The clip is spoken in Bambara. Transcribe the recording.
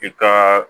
I ka